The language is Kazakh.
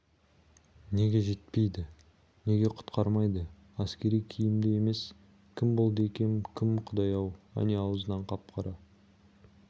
неге жетпейді неге құтқармайды әскери киімді емес кім болды екен бұл кім құдай-ау әне аузынан қап-қара